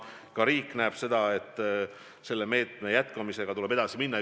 Ka riik näeb seda, et selle meetme jätkamisega tuleb edasi minna.